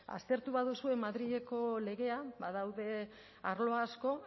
aztertu baduzue madrileko legea badaude arlo asko